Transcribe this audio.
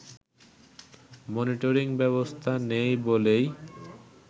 monitoring ব্যবস্থা নেই বলেই